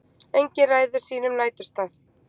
Engin ræður sínum næturstað.